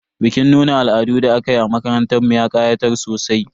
Bikin nuna al'adun da aka yi a makarantar mu ya ƙayatar sosai.